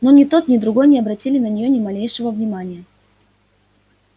но ни тот ни другой не обратили на неё ни малейшего внимания